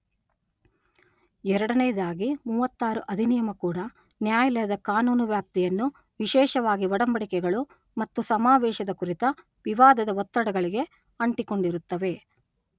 ಎರಡನೆಯದಾಗಿ ಮೂವತ್ತಾರು ಅಧಿನಿಯಮ ಕೂಡಾ ನ್ಯಾಯಾಲಯದ ಕಾನೂನು ವ್ಯಾಪ್ತಿಯನ್ನುವಿಶೇಷವಾಗಿ ಒಡಂಬಡಿಕೆಗಳು ಮತ್ತು ಸಮಾವೇಶದ ಕುರಿತ ವಿವಾದದ ಒತ್ತಡಗಳಿಗೆ ಅಂಟಿಕೊಂಡಿರುತ್ತವೆ.